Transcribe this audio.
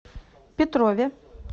петрове